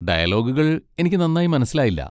ഡയലോഗുകൾ എനിക്ക് നന്നായി മനസ്സിലായില്ല.